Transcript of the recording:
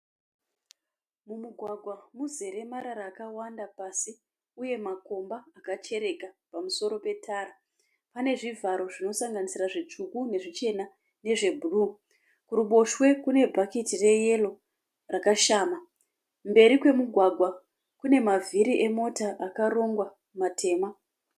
Mumugwagwa muzere marara akawanda pasi. Uye makomba akachereka pamusoro pe tara. Pane zvivharo zvinosanganisira zvitsvuku ,nezvichena nezve bhuruu. Kuruboshwe kune bhaketi reyero rakashama. Mberi kwemugwagwa Kune mavhiri emota akarongwa matema.